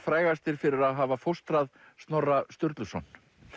frægastir fyrir að hafa fóstrað Snorra Sturluson